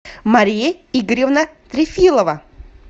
мария игоревна трефилова